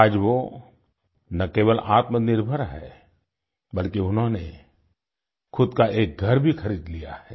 आज वो ना केवल आत्मनिर्भर है बल्कि उन्होंने खुद का एक घर भी खरीद लिया है